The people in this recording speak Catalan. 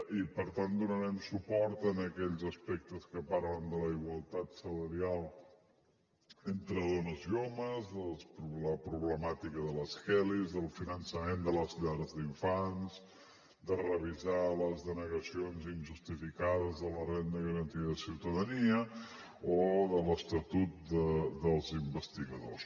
i per tant donarem suport a aquells aspectes que parlen de la igualtat salarial entre dones i homes de la problemàtica de les kellys del finançament de les llars d’infants de revisar les denegacions injustificades de la renda garantida de ciutadania o de l’estatut dels investigadors